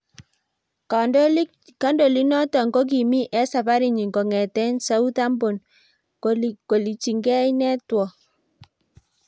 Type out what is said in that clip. kandolik noto kokimii eng safarinyin kongeten Southhampton kolichingei network